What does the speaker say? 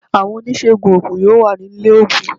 Àwọn oníṣègùn oògùn yóò wà ní ilé oògùn